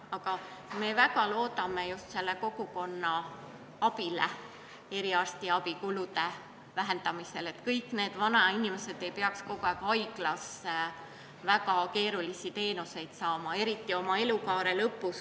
Aga me väga loodame just kogukonna abile eriarstiabi kulude vähendamisel, et kõik vanainimesed ei peaks kogu aeg minema haiglasse väga keerulisi teenuseid saama, eriti oma elukaare lõpus.